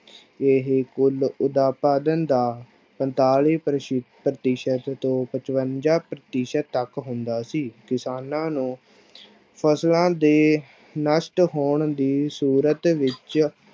ਇਹ ਕੁੱਲ ਉਤਪਾਦਨ ਦਾ ਪੰਤਾਲੀ ਪ੍ਰਸੀ ਪ੍ਰਤੀਸ਼ਤ ਤੋਂ ਪਚਵੰਜਾ ਪ੍ਰਤੀਸ਼ਤ ਤੱਕ ਹੁੰਦਾ ਸੀ, ਕਿਸ਼ਾਨਾਂ ਨੂੰ ਫਸਲਾਂ ਦੇ ਨਸ਼ਟ ਹੋਣ ਦੀ ਸੂਰਤ ਵਿੱਚ